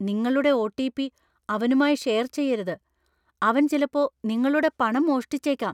നിങ്ങളുടെ ഒ.ടി.പി.അവനുമായി ഷെയർ ചെയ്യരുത്. അവൻ ചിലപ്പോ നിങ്ങളുടെ പണം മോഷ്ടിച്ചേക്കാം.